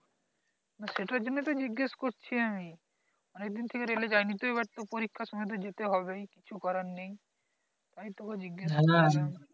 সেটার জন্য তো জিজ্ঞেস করছি আমি অনেক দিন থেকে রেলে যাই নি তো এইবার তো পরীক্ষার সময় তো যেতে হবে ই কিছু করার নেই তাই তোকে জিজ্ঞেস করলাম